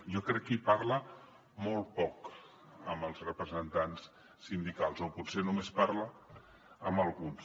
jo crec que hi parla molt poc amb els representants sindicals o potser només parla amb alguns